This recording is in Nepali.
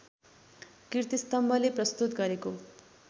कीर्तिस्तम्भले प्रस्तुत गरेको